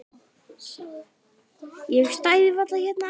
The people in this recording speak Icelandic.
Ég stæði varla hérna annars.